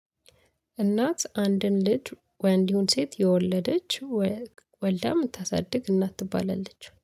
እናት አንድን ልጅ ወንድ ይሁን ሴት የወለደች ወልዳ የምታሳድግ እናት ትባላለች